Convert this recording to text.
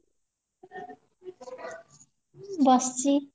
ବସିଚି